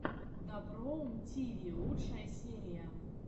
доброум тиви лучшая серия